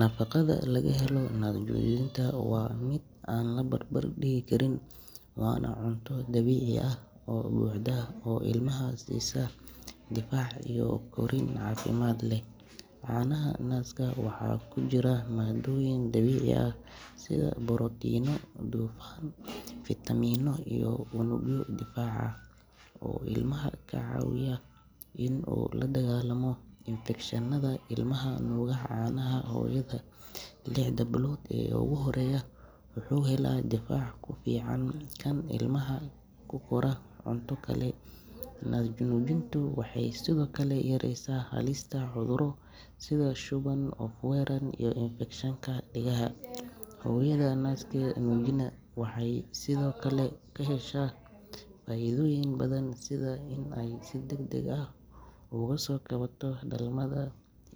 Nafaqada laga helo naas-nuujinta waa mid aan la barbar dhigi karin, waana cunto dabiici ah oo buuxda oo ilmaha siisa difaac iyo korriin caafimaad leh. Caanaha naaska waxaa ku jira maaddooyin dabiici ah sida borotiinno, dufan, fiitamiinno, iyo unugyo difaac ah oo ilmaha ka caawiya in uu la dagaallamo infekshannada. Ilmaha nuuga caanaha hooyada lixda bilood ee ugu horreysa wuxuu helaa difaac ka fiican kan ilmaha ku kora cunto kale. Naas-nuujintu waxay sidoo kale yareysaa halista cudurro sida shuban, oof-wareen, iyo infekshanka dhegaha. Hooyada naaskeeda nuujisa waxay sidoo kale ka heshaa faa’iidooyin badan sida in ay si degdeg ah uga soo kabato dhalmada,